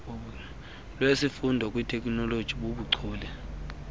lwesifundo kwiteknoloji bubuchule